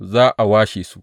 Za a washe su.